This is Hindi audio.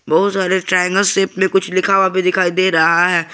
बहुत सारे ट्रायंगल शेप में कुछ लिखा हुआ भी दिखाई दे रहा है।